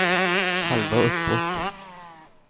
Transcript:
halva uppåt